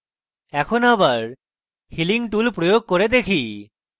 এখন আবার healing tool প্রয়োগ করে দেখি